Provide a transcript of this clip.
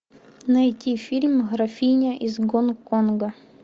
найти фильм графиня из гонконга